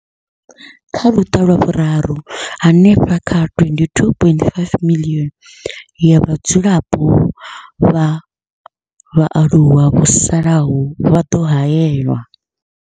Kha luṱa lwa Vhuraru, hanefha kha 22.5 miḽioni ya vhadzulapo vha vhaaluwa vho salaho vha ḓo haelwa.